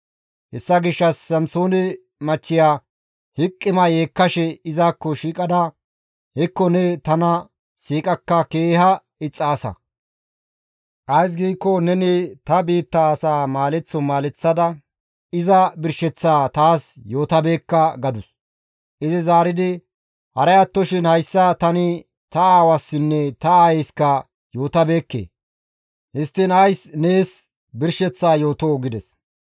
Hessa gishshas Samsoone machchiya hiqima yeekkashe izakko shiiqada, «Hekko ne tana siiqakka keeha ixxaasa! Ays giikko neni ta biitta asaa maaleththo maaleththada iza birsheththaa taas yootabeekka» gadus. Izi zaaridi, «Haray attoshin hayssa tani ta aawassinne ta aayeyska yootabeekke; histtiin ays nees birsheththaa yootoo?» gides.